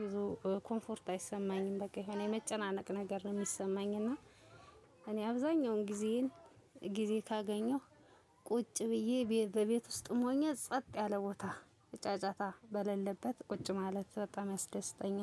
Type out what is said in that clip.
ብዙም ኮንፎርት አይሰማኝም በቃ የሆነ የመጨናነቅ ነገር ነው ሚሰማኝ። እና እኔ አብዛኛውን ጊዜዬን ጊዜ ካገኘሁ ቁጭ ብዬ በቤት ውስጥም ሆኜ ጸጥ ያለ ቦታ ጫጫታ በሌለበት ቁጭ ማለት በጣም ያስደስተኛል